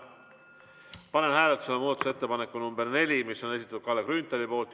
Panen hääletusele muudatusettepaneku nr 4, mis on Kalle Grünthali esitatud.